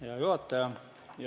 Hea juhataja!